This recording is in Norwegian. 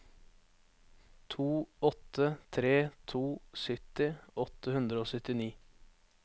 to åtte tre to sytti åtte hundre og syttini